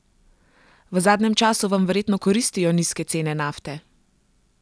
V zadnjem času vam verjetno koristijo nizke cene nafte?